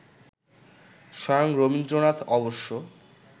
স্বয়ং রবীন্দ্রনাথ অবশ্য